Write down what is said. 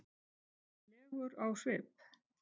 legur á svip.